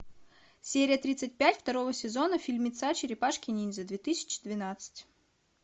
серия тридцать пять второго сезона фильмеца черепашки ниндзя две тысячи двенадцать